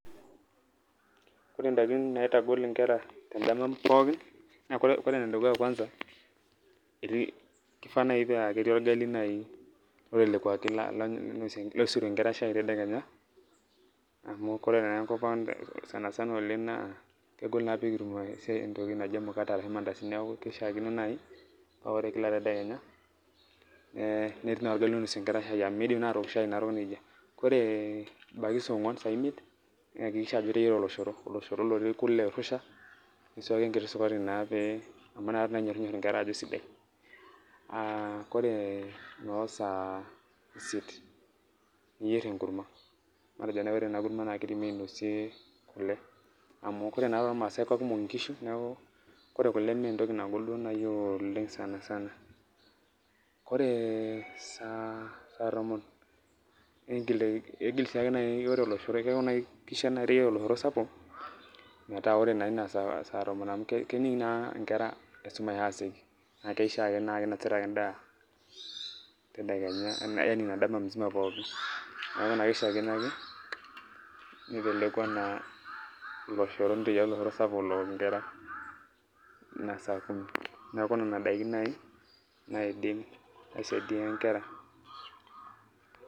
Ore indaikin naitagol inkera tendama pooki naa ore enedukuya kwanza keifaa naaji naa ketii olgali lotelekwaki loisotie inkera shai tedekenya amu ore naa enkop ang sana sana oleng naa kegol naa pee kitum emkate arashu ilmandazini neeku kishiaakino naaji paa ore Kila tedekenya netii olgali oinosie inkera shai amu miidim naa aatok shai narok nejia. Ore ebaiki saa onguan saa imiet ihakikisha Ajo iteyiara oloshoro otii kule oirusha niswaaki enkiti sukari naa pee amu inakata peeenyor inkera Ajo isidai. Ore noo saa isiet niyier enkurma matejo duo naaji ore ena kurma naa keidimi ainosie kule amu iyiolo naa Ajo ore toolmaasai na kekumok inkishu neeku ore kule mee entoki duo naaji nagol duo naaji oleng sana sana. Ore saa tomon keishiaa naaji naa iteyiara oloshoro sapuk metaa ore naa Ina saa tomon amu kening naa ake inkera esumasha aasioki naa keishiaa naa keinosita ake endaa Ina dama mzima pooki. Neeku naa kishiaakino ake nitelekwa oloshoro sapuk ook inkera Ina saa kumi neeku nena daiki naaji naaidim aisaidia inkera .